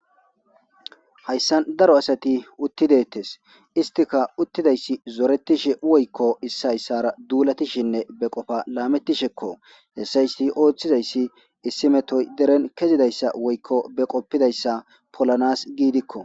hayssan daro asati uttidettes istika uttidayssi zoretishi woykko issi hayssara duulatishinne be qofa laamettishekko hessaysi ooththizayssi issimetoy deren kezidayssa woykko be qoppidayssa polanas giidikko.